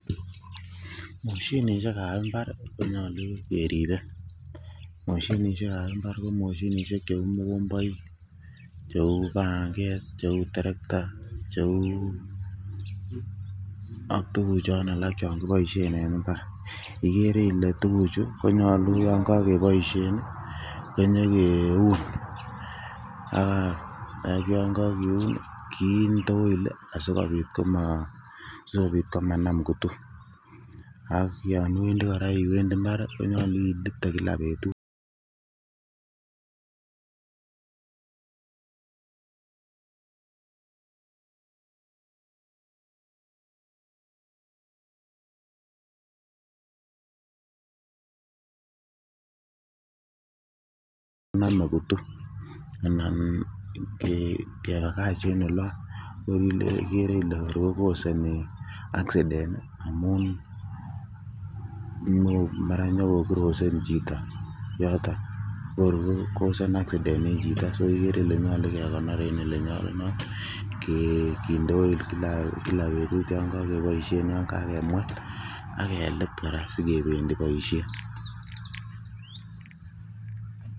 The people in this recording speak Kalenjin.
Moshinishiek ab mbar konyolu keribe, moshinishiek ab mbar ko moshinishiek cheu mogomboik, cheu pang'et, cheu terekta cheu ak tuguchon alak chekiboisien en mbar, igere ile tuguchu konyolu yon kokeboisien ii konyegeun ak yangegeun kinde oil asikobit komanam kutu ak yon iwedi kora iwendi mbar ii konyolu ilite gila betut nome kutu anan kebagach en olon igere ile kor kokosoni aksiden mara nyongokirosen chito ko kor kokosoni aksiden en chito so igere ile nyolu kekonor en olenyolunot, kinde oil gila betut yon kokeboisien yang'akemwet ak kelit kora sigebendi boisiet.